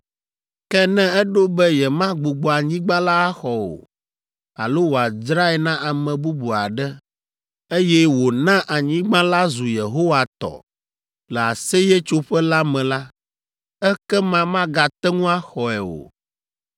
“ ‘Ke ne eɖo be yemagbugbɔ anyigba la axɔ o, alo wòdzrae na ame bubu aɖe, eye wòna anyigba la zu Yehowa tɔ le Aseyetsoƒe la me la, ekema magate ŋu axɔe o.